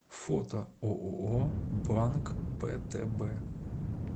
фото ооо банк птб